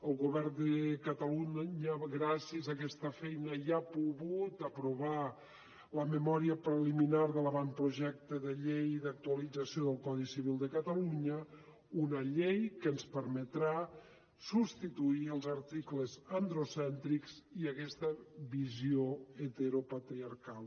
el govern de catalunya gràcies a aquesta feina ja ha pogut aprovar la memòria preliminar de l’avantprojecte de llei d’actualització del codi civil de catalunya una llei que ens permetrà substituir els articles androcèntrics i aquesta visió heteropatriarcal